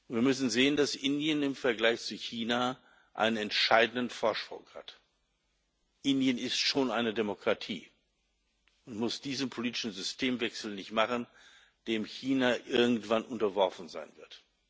Wir müssen sehen, dass Indien im Vergleich zu China einen entscheidenden Vorsprung hat Indien ist schon eine Demokratie und muss diesen politischen Systemwechsel nicht machen, dem China irgendwann unterworfen sein wird.